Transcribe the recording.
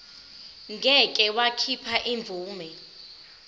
ngeke wakhipha imvume